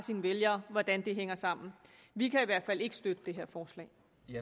vælgere hvordan det hænger sammen vi kan i hvert fald ikke støtte det her forslag